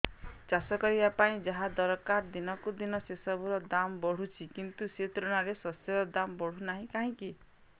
ଚାଷ କରିବା ପାଇଁ ଯାହା ଦରକାର ଦିନକୁ ଦିନ ସେସବୁ ର ଦାମ୍ ବଢୁଛି କିନ୍ତୁ ସେ ତୁଳନାରେ ଶସ୍ୟର ଦାମ୍ ବଢୁନାହିଁ କାହିଁକି